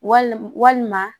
Wal walima